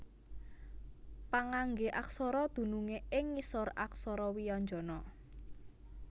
Pangangge aksara dunungé ing ngisor aksara wianjana